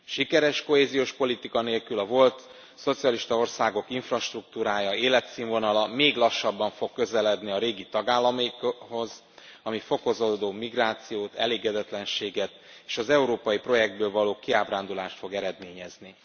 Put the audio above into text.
Sikeres kohéziós politika nélkül a volt szocialista országok infrastruktúrája, életszínvonala még lassabban fog közeledni a régi tagállamokhoz, ami fokozódó migrációt, elégedetlenséget és az európai projektből való kiábrándulást fog eredményezni.